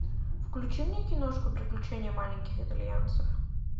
включи мне киношку приключения маленьких итальянцев